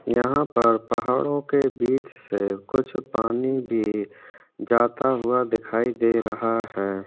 यहाँ पर पहाड़ो के बिच से कुछ पानी भी जाता हुआ दिखाई दे रहा है।